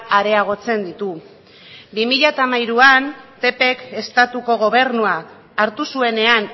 areagotzen ditu bi mila hamairuan ppk estatuko gobernua hartu zuenean